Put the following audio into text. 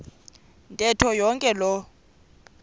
ntetho yonke loo